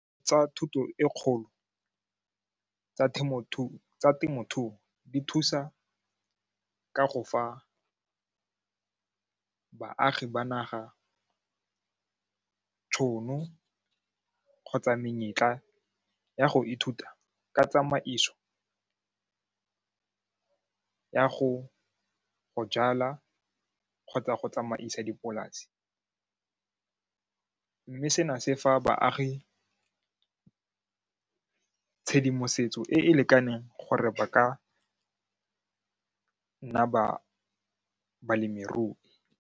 Tsa thuto e kgolo tsa temothuo di thusa ka go fa baagi ba naga tšhono kgotsa menyetla ya go ithuta ka tsamaiso ya go jala kgotsa go tsamaisa dipolase mme sena se fa baagi tshedimosetso e e lekaneng gore ba ka nna balemirui.